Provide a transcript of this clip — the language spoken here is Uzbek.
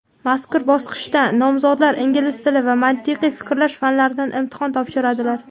Mazkur bosqichda nomzodlar ingliz tili va mantiqiy fikrlash fanlaridan imtihon topshiradilar.